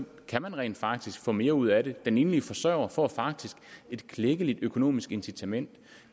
kan man rent faktisk få mere ud af det den enlige forsørger får faktisk et klækkeligt økonomisk incitament